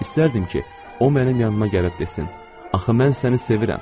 İstərdim ki, o mənim yanıca gəlib desin: "Axı mən səni sevirəm!"